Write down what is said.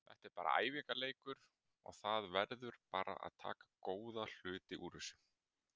Þetta er bara æfingarleikur og það verður bara að taka góða hluti úr þessu.